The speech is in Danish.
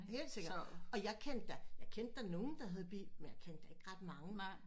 Helt sikkert og jeg kendte da jeg kendte da nogle der havde bil men jeg kendte da ikke ret mange